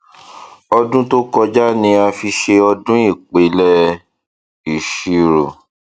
ọdún tó kọjá ni a fi ṣe ọdún ìpìlẹ ìṣirò